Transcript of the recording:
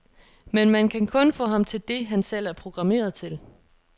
Men man kan kun få ham til det, han selv er programmeret til.